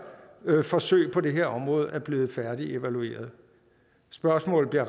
forsøg på det her område er blevet færdigevalueret spørgsmålet